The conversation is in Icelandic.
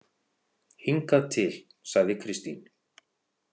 Hingað til, sagði Kristín.